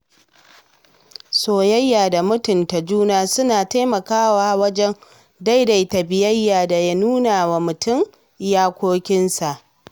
Soyayya da mutunta juna suna taimakawa wajen daidaita biyayya da nuna wa mutum iyakokinsa.